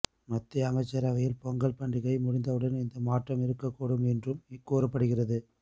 மத்திய அமைச்சரவையில் பொங்கல் பண்டிகை முடிந்தவுடன் இந்த மாற்றம் இருக்கக் கூடும் என்றும் கூறப்படுகிறது